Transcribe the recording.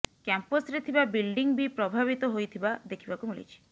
କ୍ୟାମ୍ପସରେ ଥିବା ବିଲ୍ଡିଂ ବି ପ୍ରଭାବିତ ହୋଇଥିବା ଦେଖିବାକୁ ମିଳିଛି